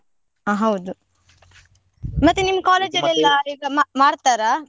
ಹಾ ಹೌದು, ಮತ್ತೆ ನಿಮ್ college ಅಲ್ ಎಲ್ಲ ಈಗ ಮಾ~ ಮಾಡ್ತಾರಾ?